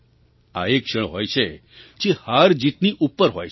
આ એ ક્ષણ હોય છે જે હારજીતની ઉપર હ ય છે